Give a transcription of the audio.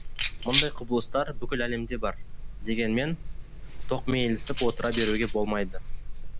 мұндай құбылыстар бүкіл әлемде бар дегенмен тоқмейілсіп отыра беруге болмайды